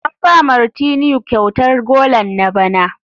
An ba Martineau kyautar golan na bana.